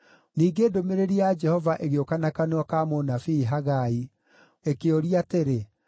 Ningĩ ndũmĩrĩri ya Jehova ĩgĩũka na kanua ka mũnabii Hagai ĩkĩũria atĩrĩ,